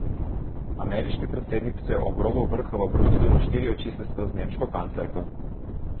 Ameriški predsednik se je ob robu vrha v Bruslju na štiri oči sestal z nemško kanclerko.